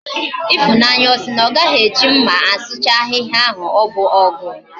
Ifunanya osi na ogaghi eji mma asuchasi ahiahia? na obu ogu?